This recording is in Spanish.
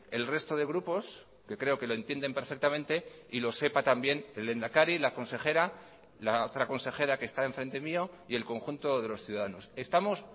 el resto de grupos que creo que lo entienden perfectamente y lo sepa también el lehendakari la consejera la otra consejera que está enfrente mío y el conjunto de los ciudadanos estamos